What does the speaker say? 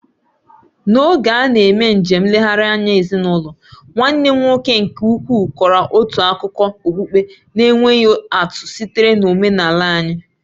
N'oge a na-eme njem nlegharị anya ezinụlọ, nwanne m nwoke nke ukwu kọrọ otu akụkọ okpukpe na-enweghị atụ sitere n'ọmenala anyị.